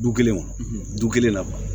Du kelenw du kelen na